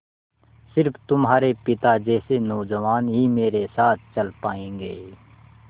स़िर्फ तुम्हारे पिता जैसे नौजवान ही मेरे साथ चल पायेंगे